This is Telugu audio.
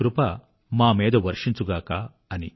మీ కృప మామీద వర్షించుగాక